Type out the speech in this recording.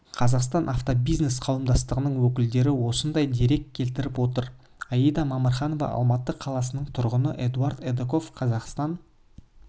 қазақстан автобизнес қауымдастығының өкілдері осындай дерек келтіріп отыр аида мамырханова алматы қаласының тұрғыны эдуард эдоков қазақстан